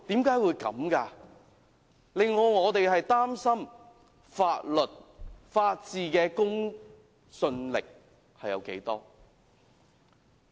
這令我們擔心法律、法治的公信力還有多少。